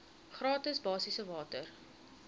gratis basiese water